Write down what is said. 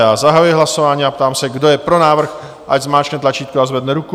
Já zahajuji hlasování a ptám se, kdo je pro návrh, ať zmáčkne tlačítko a zvedne ruku.